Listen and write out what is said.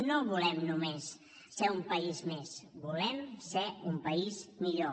no volem només ser un país més volem ser un país millor